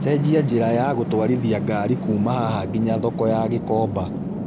cenjia njiĩra ya gũtũarithia ngari kuuma haha nginya thoko ya gikomba